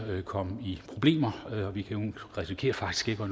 komme i problemer og vi risikerer faktisk ikke at